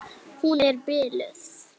Hún er biluð!